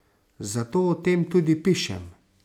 Zato o tem tudi pišem.